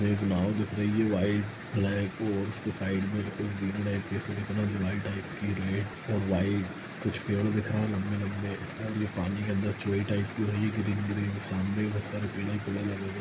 एक नांव दिख रही है व्हाइट ब्लैक और उसके साइड में ब्लैक टाइप रेड और व्हाइट कुछ पेड़ दिख रहे है लम्बे लम्बे और ये पानी के अन्दर चोरी टाइप की हो रही है ग्रीन - ग्रीन सामने --